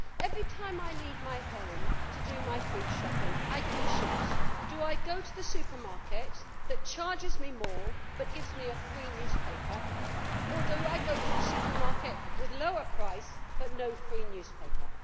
Every time I leave my home to do my food shopping, I can choose do I go to the supermarket that charges me more but gives me a free newspaper, or do I go to the supermarket with a lower price but no free newspaper?